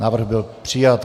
Návrh byl přijat.